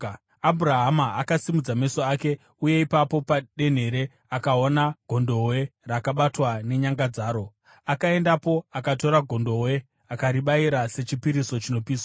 Abhurahama akasimudza meso ake uye ipapo padenhere akaona gondobwe rakabatwa nenyanga dzaro. Akaendapo akatora gondobwe akaribayira sechipiriso chinopiswa.